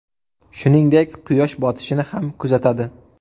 Shuningdek, quyosh botishini ham kuzatadi.